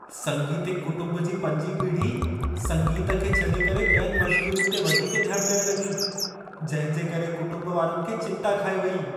संगीतिक कुटुंब जी पंजीं पीढ़ी संगीतु खे छॾे करे ॿियनि मश्ग़ूलियुनि ते वधीक ध्यान ॾियण लॻी। जंहिं जे करे कुंटुंब वारनि खे चिंता खाए वेई।